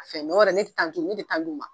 Fɛn tɛ d'u ma